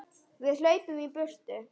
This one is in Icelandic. Við hlaupum í burtu.